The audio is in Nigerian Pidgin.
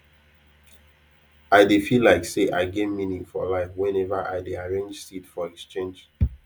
i dey feel like say i get meaning for life whenever i dey arrange seed for exchange